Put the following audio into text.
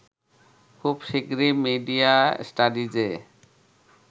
খুব শীঘ্রই মিডিয়া স্টাডিজে